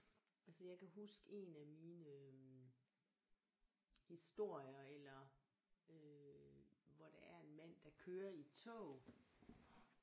Altså jeg kan huske en af mine historier eller øh hvor der er en mand der kører i et tog